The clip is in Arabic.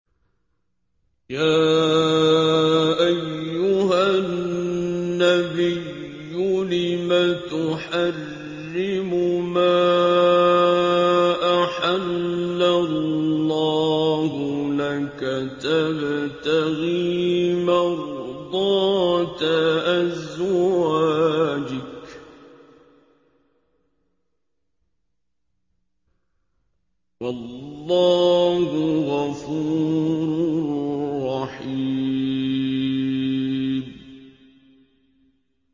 يَا أَيُّهَا النَّبِيُّ لِمَ تُحَرِّمُ مَا أَحَلَّ اللَّهُ لَكَ ۖ تَبْتَغِي مَرْضَاتَ أَزْوَاجِكَ ۚ وَاللَّهُ غَفُورٌ رَّحِيمٌ